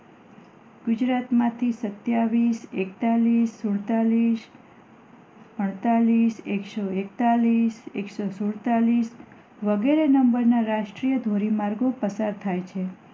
ગુજરાત માંથી સત્યાવીસ, એકતાલીસ, સુડતાલીસ અડતાલીસ એક સો એકતાલીસ એક સો સુડતાલીસ વગેરે નંબર ના રાષ્ટ્રીય ધોરી માર્ગો પસાર થાય છે